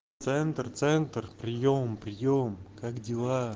центр центр приём приём как дела